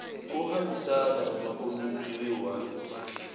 ohambisana namakomiti ewadi